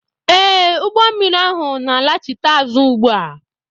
Ee, ụgbọ mmiri ahụ na-alachite azụ ugbu a